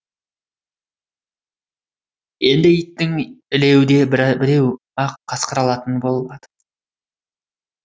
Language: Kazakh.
енді иттің ілеуде біреуі ақ қасқыр алатын болады